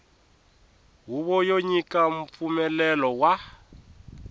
huvo yo nyika mpfumelelo wa